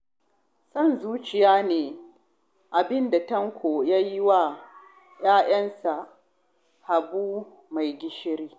Son zuciya ne abin da Tanko ya yi wa yayansa Habu mai gishiri